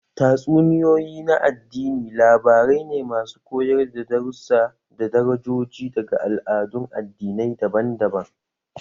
Tatsuniyoyi na addini labarai ne masu koyar da darussa da darajoji daga al'adun addinai daban-daban.